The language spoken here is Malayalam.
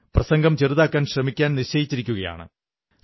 പ്രസംഗം ചെറുതാക്കാൻ ശ്രമിക്കാൻ നിശ്ചയിച്ചിരിക്കയാണ്